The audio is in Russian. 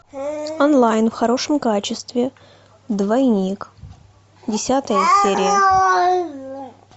онлайн в хорошем качестве двойник десятая серия